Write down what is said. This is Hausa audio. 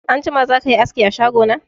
Anjima zakayi aski a shago na?